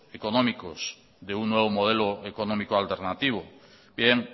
económicos de un nuevo modelo económico alternativo bien